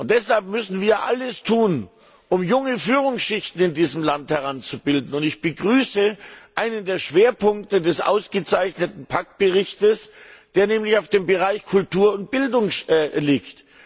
Deshalb müssen wir alles tun, um junge Führungsschichten in diesem Land heranzubilden, und ich begrüße einen der Schwerpunkte des ausgezeichneten Berichts der Kollegin Pack, der nämlich auf dem Bereich Kultur und Bildung liegt.